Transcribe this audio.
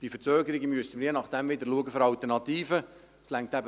Bei Verzögerungen müssen wir je nachdem wieder für Alternativen sorgen.